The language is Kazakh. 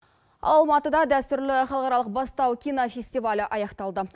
алматыда дәстүрлі халықаралық бастау кинофестивалі аяқталды